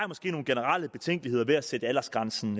måske nogle generelle betænkeligheder ved at sætte aldersgrænsen